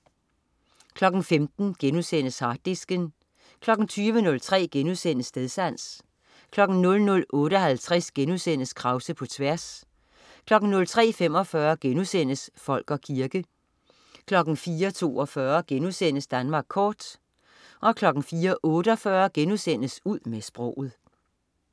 15.00 Harddisken* 20.03 Stedsans* 00.58 Krause på tværs* 03.45 Folk og kirke* 04.42 Danmark kort* 04.48 Ud med sproget*